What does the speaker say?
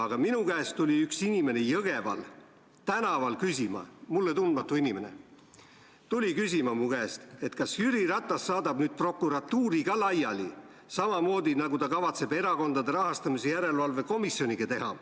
Aga minu käest tuli üks inimene Jõgeval tänaval küsima, mulle tundmatu inimene, kas Jüri Ratas saadab nüüd prokuratuuri ka laiali, samamoodi, nagu ta kavatseb Erakondade Rahastamise Järelevalve Komisjoniga teha.